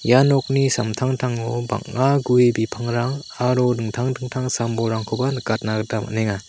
ia nokni samtangtango bang·a gue bipangrang aro dingtang dingtang sam-bolrangkoba nikatna gita man·enga.